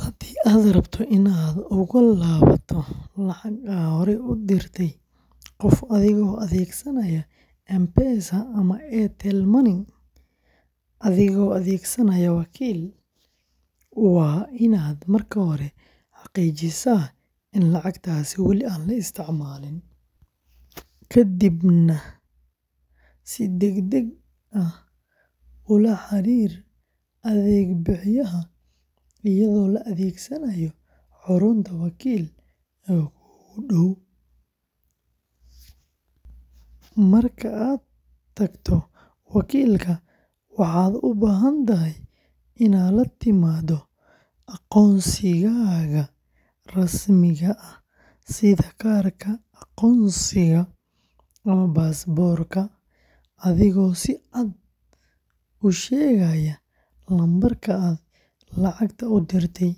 Haddii aad rabto inaad uga laabato lacag aad horey ugu dirtay qof adigoo adeegsanaya M-Pesa and Airtel Money adigoo adeegsanaya wakiil, waa inaad marka hore xaqiijisaa in lacagtaasi wali aan la isticmaalin, kadibna si degdeg ah ula xiriir adeeg bixiyahaaga iyadoo la adeegsanayo xarunta wakiil ee kuugu dhow. Marka aad tagto wakiilka, waxaad u baahan tahay inaad la timaado aqoonsigaaga rasmiga ah sida kaarka aqoonsiga ama baasaboorka, adigoo si cad u sheegaya lambarka aad lacagta u dirtay,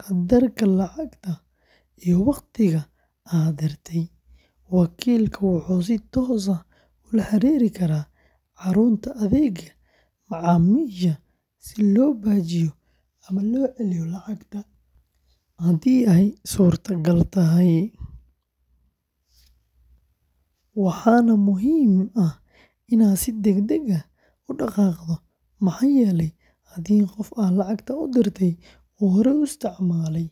qadarka lacagta, iyo waqtiga aad dirtay. Wakiilka wuxuu si toos ah ula xiriiri karaa xarunta adeegga macaamiisha si loo baajiyo ama loo celiyo lacagta haddii ay suurtagal tahay. Waxaa muhiim ah inaad si degdeg ah u dhaqaaqdo maxaa yeelay haddii qofka aad lacagta u dirtay uu horey u isticmaalay.